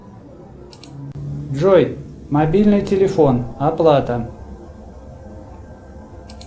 джой мобильный телефон оплата